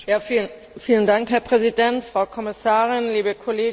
Herr Präsident, Frau Kommissarin, liebe Kolleginnen und Kollegen!